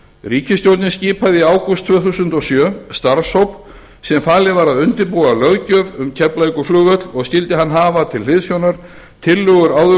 ríkisstjórnin skipaði í ágúst tvö þúsund og sjö starfshóp sem falið var að undirbúa löggjöf um keflavíkurflugvöll og skyldi hann hafa til hliðsjónar tillögur